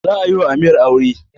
Za a yiwa amir aure